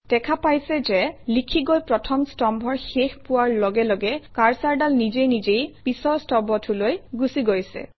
দেখা পাইছে যে লিখি গৈ প্ৰথম স্তম্ভৰ শেষ পোৱাৰ লগে লগে কাৰ্চৰডাল নিজে নিজেই পিছৰ স্তম্ভটোলৈ গুচি গৈছে